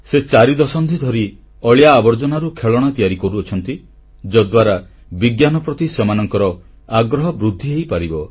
ସେ ଚାରି ଦଶନ୍ଧି ଧରି ଅଳିଆଆବର୍ଜନାରୁ ଖେଳଣା ତିଆରି କରୁଛନ୍ତି ଯଦ୍ୱାରା ବିଜ୍ଞାନ ପ୍ରତି ସେମାନଙ୍କର ଆଗ୍ରହ ବୃଦ୍ଧି ହୋଇପାରିବ